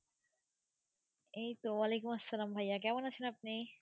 এই তো ওয়ালাইকুম আসসালাম, ভাইয়া কেমন আছেন আপনি?